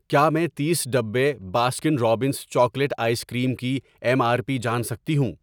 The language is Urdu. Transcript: کیا میں تیس ڈبے Baskin Robbins chocolate ice cream کی ایم آر پی جان سکتی ہوں؟